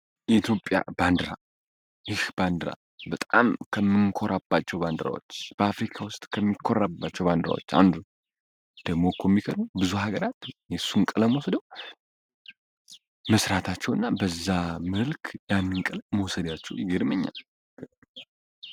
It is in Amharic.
የትዮጵያ ባንዲራ ይህ ባንዲራ በጣም ከምንኮራባው ባንዲራዎች በአፍሪካ ውስጥ ከሚኮራባቸው ባንድራዎች አንዱ ደሞኮ የሚገርመዉ ብዙ ሀገራት የሱን ቀለም ወሰደው መስራታቸው እና በዛ መልክ ያነን ቀለም መሰዳያቸው ይግድምኛል።